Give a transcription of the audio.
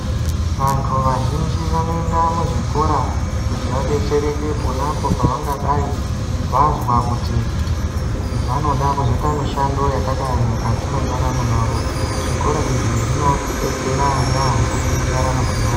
Vantu vazhinji vanoenda muzvikora kuti vadetsereke pona apo pavangadai vazwa kuti vanoda kuzoita mishando yakadayi mukati mwendaramo yavo zvikora izvi zvinodetsera yaambo mundaramo dzevanhu.